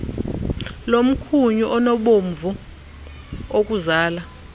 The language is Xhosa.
komkhunyu onobomvu okuzala